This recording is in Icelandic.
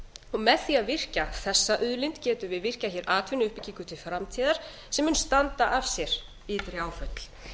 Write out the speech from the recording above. og með því að virkja þessa auðlind getum við virkjað hér atvinnuuppbyggingu til framtíðar sem mun standa af sér ytri áföll